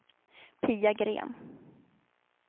Pia Gren